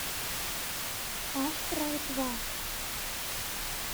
астрал два